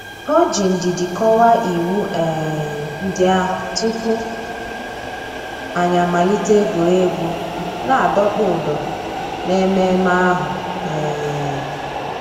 Ọ̀ jì ndìdì kọ́wàá ìwù um ńdí àhụ̀ túpù ànyị̀ àmàlítè ègwè́ré́gwụ̀ nà-àdọ̀kpụ̀ ǔ́dọ̀ n'èmẹ̀mmẹ̀ àhụ̀. um